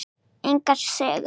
Engar sögur.